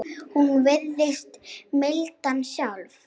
Hún virðist mildin sjálf.